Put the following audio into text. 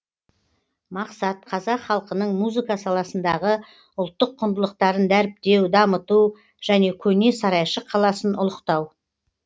мақсат қазақ халқының музыка саласындағы ұлттық құндылықтарын дәріптеу дамыту және көне сарайшық қаласын ұлықтау